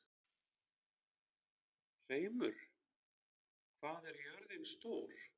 Hreimur, hvað er jörðin stór?